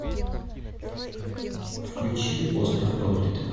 включи остров проклятых